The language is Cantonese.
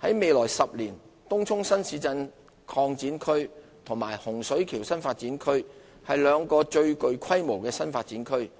在未來10年，東涌新市鎮擴展區及洪水橋新發展區是兩個最具規模的新發展區，